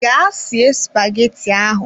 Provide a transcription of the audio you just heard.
Ga sie spaghetti ahụ!